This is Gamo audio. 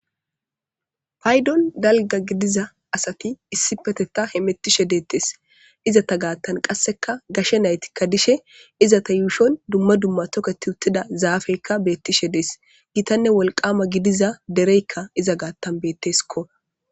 Paydon galga gidiza asati issi peteta he mettishe deettes izata gaattan qasseka gashe naytikka dishe izata yuushon dumma dumma toketi uttida zaafeykka beettishe dees gitanne wolqama gidiza dereykka iza gaattan betteskko.